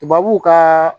Tubabu ka